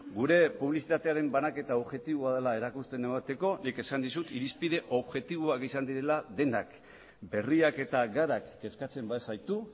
gure publizitatearen banaketa objektiboa dela erakusten emateko nik esan dizut irizpide objektiboak izan direla denak berriak eta garak kezkatzen bazaitu